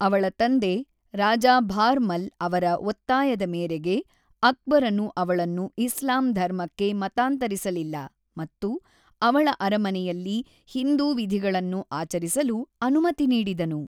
ಅವಳ ತಂದೆ ರಾಜಾ ಭಾರ್‌ಮಲ್‌ ಅವರ ಒತ್ತಾಯದ ಮೇರೆಗೆ ಅಕ್ಬರನು ಅವಳನ್ನು ಇಸ್ಲಾಂ ಧರ್ಮಕ್ಕೆ ಮತಾಂತರಿಸಲಿಲ್ಲ ಮತ್ತು ಅವಳ ಅರಮನೆಯಲ್ಲಿ ಹಿಂದೂ ವಿಧಿಗಳನ್ನು ಆಚರಿಸಲು ಅನುಮತಿ ನೀಡಿದನು.